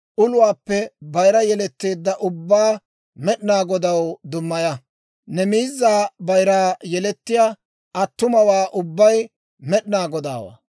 uluwaappe bayira yeletteedda ubbaa Med'inaa Godaw dummaya; ne miizaa bayiraa yelettiyaa attumawaa ubbay Med'inaa Godaawaa.